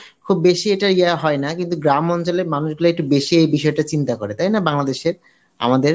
খুব বেশি এইটা ইয়ে হয় না কিন্তু গ্রামাঞ্চলের মানুষগুলা একটু বেশিই এই বিষয়টা চিন্তা করে, তাই না বাংলাদেশের আমাদের